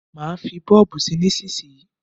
Má fí bọ́ọ̀bù sí nísísíyí.